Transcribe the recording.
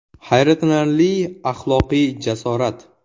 Hayratlanarli axloqiy jasorat!